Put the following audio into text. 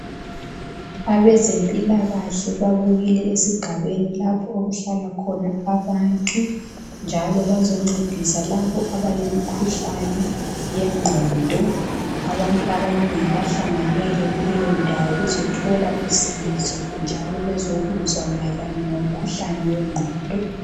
Abezempilakahle babuyile esigabeni lapho okuhlala khona abantu njalo bazoncedisa labo abale mikhuhlane yengqondo , abantu abanengi bahlanganele kuleyo ndawo bezothola usizo njalo bezokuzwa mayelelana ngimkhuhlane wengqondo .